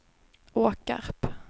Åkarp